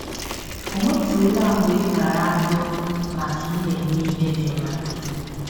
Ọ̀ nwetụla mgbe ị tara ahụhụ maka na i mere ihe dị mma?